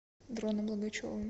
дроном логачевым